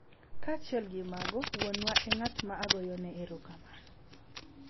Kaachiel gi mago, wuonwa e ng’at ma agoyo erokamano .